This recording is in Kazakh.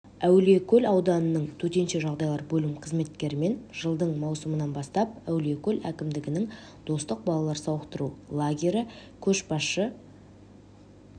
әулиекөл ауданының төтенше жағдайлар бөлім қызметкерлерімен жылдың маусымынан бастап әулиекөл әкімдігінің достық балалар сауықтыру лагері көшбасшы